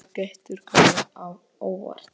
Það getur komið á óvart.